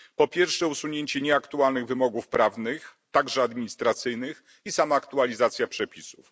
Po pierwsze, usunięcie nieaktualnych wymogów prawnych, także administracyjnych, i sama aktualizacja przepisów.